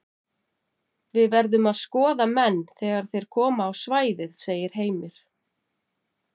Við verðum að skoða menn þegar þeir koma á svæðið segir Heimir.